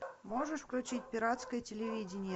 можешь включить пиратское телевидение